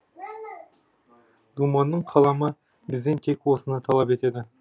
думанның қаламы бізден тек осыны талап етеді